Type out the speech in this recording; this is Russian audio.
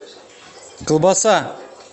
колбаса